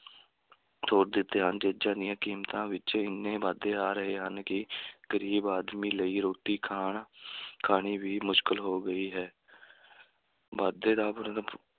ਤੋੜ ਦਿੱਤੇ ਹਨ, ਚੀਜਾਂ ਦੀਆਂ ਕੀਮਤਾਂ ਵਿੱਚ ਇੰਨੇ ਵਾਧੇ ਆ ਰਹੇ ਹਨ ਕਿ ਗਰੀਬ ਆਦਮੀ ਲਈ ਰੋਟੀ ਖਾਣ ਖਾਣੀ ਵੀ ਮੁਸ਼ਕਿਲ ਹੋ ਗਈ ਹੈ ਵਾਧੇ ਦਾ